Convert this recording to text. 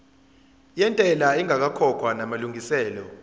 yentela ingakakhokhwa namalungiselo